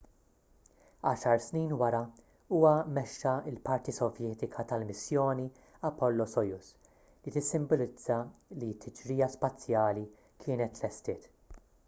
għaxar snin wara huwa mexxa l-parti sovjetika tal-missjoni apollo-soyuz li tissimbolizza li t-tiġrija spazjali kienet tlestiet